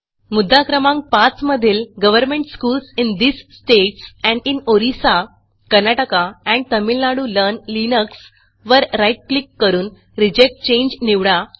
मुद्दा क्रमांक 5 मधील government schools in these states and in Orissa Karnataka and Tamil Nadu learn Linuxवर राईट क्लिक करून रिजेक्ट चांगे निवडा